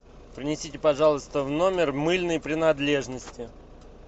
принесите пожалуйста в номер мыльные принадлежности